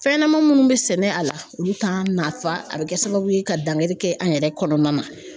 Fɛn ɲɛnama minnu bɛ sɛnɛ a la olu t'an nafa a bɛ kɛ sababu ye ka dankari kɛ an yɛrɛ kɔnɔna na